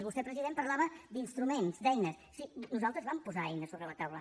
vostè president parlava d’instruments d’eines sí nosaltres vam posar eines sobre la taula